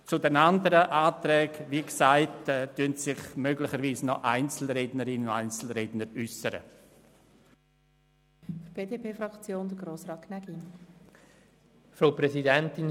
Zu den anderen Anträgen werden sich möglicherweise noch Einzelsprecherinnen oder Einzelsprecher äussern.